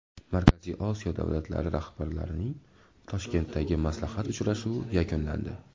Markaziy Osiyo davlatlari rahbarlarining Toshkentdagi maslahat uchrashuvi yakunlandi .